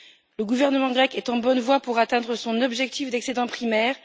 Le gouvernement grec est en bonne voie pour atteindre son objectif d'excédent primaire.